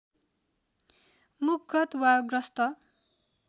मुखगत वा ग्रस्त